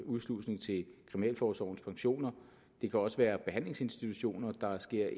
udslusning til kriminalforsorgens pensioner det kan også være behandlingsinstitutioner der sker